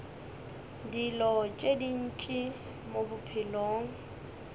dilo tše ntši mo bophelong